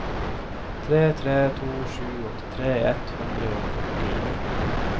tre tre to sju åttitre ett hundre og førtini